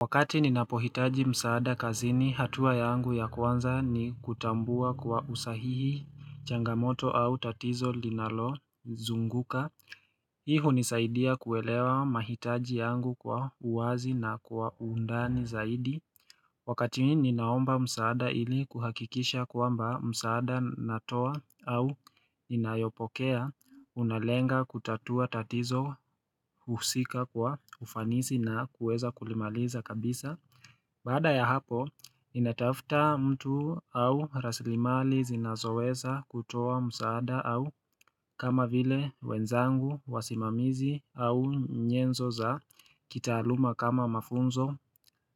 Wakati ninapohitaji msaada kazini hatua yangu ya kwanza ni kutambua kwa usahihi changamoto au tatizo linalozunguka Hii hunisaidia kuelewa mahitaji yangu kwa uwazi na kwa undani zaidi Wakati mi ninaomba msaada ili kuhakikisha kwamba msaada natoa au inayopokea unalenga kutatua tatizo husika kwa ufanisi na kueza kulimaliza kabisa Baada ya hapo, ninatafta mtu au rasilimali zinazoweza kutoa msaada au kama vile wenzangu, wasimamizi au nyenzo za kitaaluma kama mafunzo,